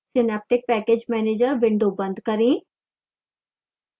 synaptic package manager window बंद करें